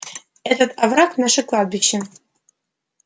этот овраг наше кладбище